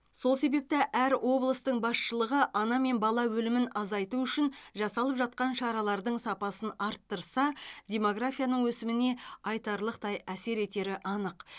сол себепті әр облыстың басшылығы ана мен бала өлімін азайту үшін жасалып жатқан шаралардың сапасын арттырса демографияның өсіміне айтарлықтай әсер етері анық